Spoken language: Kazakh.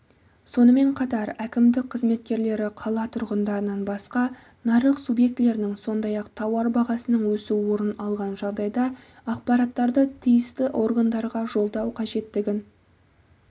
сонымен қатар әкімдік қызметкерлері қала тұрғындарынан басқа нарық субъектілерінің сондай-ақ тауар бағасының өсу орын алған жағдайда ақпараттарды тиісті органдарға жолдау қажеттігін